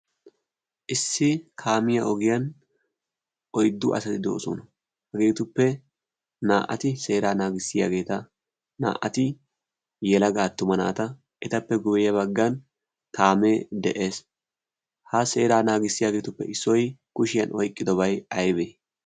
issi kaamiya ogiyan oiddu asati do'osona hageetuppe naa'ati seera naagissiyaageeta naa'ati yelagaattuma naata etappe guuye baggan taamee de'ees ha seeraa naagissiyaageetuppe issoi kushiyan oyqqidobay aibee?